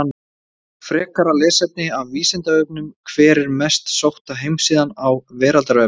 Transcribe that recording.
Frekara lesefni af Vísindavefnum: Hver er mest sótta heimasíðan á veraldarvefnum?